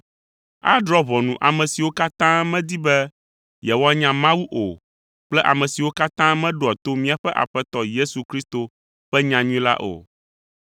Adrɔ̃ ʋɔnu ame siwo katã medi be yewoanya Mawu o kple ame siwo katã meɖoa to míaƒe Aƒetɔ Yesu Kristo ƒe nyanyui la o.